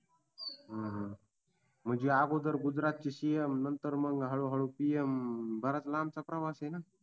हूं हूं म्हणजे आगोदर गुजरातचे CM नंतर मग हळू हळू PM बराच लांबचा प्रवासय हे न